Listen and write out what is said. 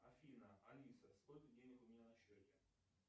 афина алиса сколько денег у меня на счете